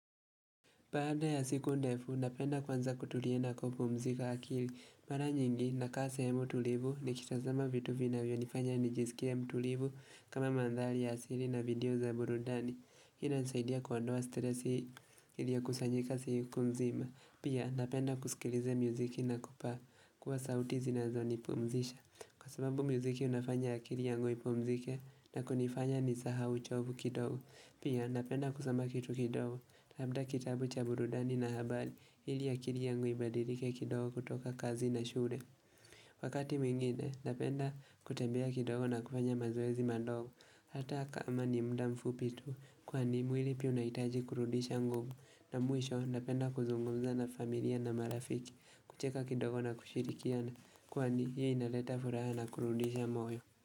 Baada ya siku ndefu, napenda kwanza kutulia na kupumzika akili. Mara nyingi, nakaa sehemu tulivu nikitazama vitu vinavyo nifanya nijisikie mtulivu kama mandhari ya asili na video za burudani. Hii inanisaidia kuondoa stresi ilio kusanyika siku mzima. Pia, napenda kusikilize muziki na kupaa kuwa sauti zinazo nipumzisha. Kwa sababu mziki unafanya akili yangu ipumzike na kunifanya nisahau uchovu kidogo. Pia napenda kusoma kitu kidogo labda kitabu cha burudani na habari ili akili yangu ibadilike kidogo kutoka kazi na shule Wakati mwingine napenda kutembea kidogo na kufanya mazoezi madogo hata kama ni muda mfupi tu kwani mwili pia unahitaji kurudisha nguvu na mwisho napenda kuzungumza na familia na marafiki kucheka kidogo na kushirikiana kwani hii inaleta furaha na kurudisha moyo.